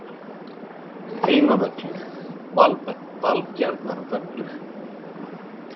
Heimavöllur: Valbjarnarvöllur Fyrirliði: Hallur Hallsson Hvernig er stemningin hjá Þrótti?